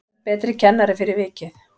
Verð betri kennari fyrir vikið